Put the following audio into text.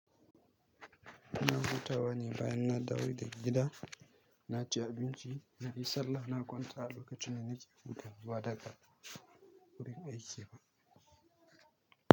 Ina hutawa ne bayan na dawo daga gida. Na ci abinci, na yi sallah, na kwanta lokacin da nake hutawa ba daka wurin aiki ba.